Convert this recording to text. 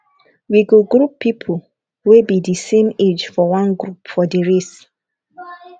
we go group pipo wey be di same age for one group for di race